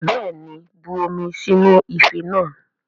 Bẹ́ẹ̀ni, bu omi sínú ife náà